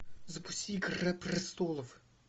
запусти игра престолов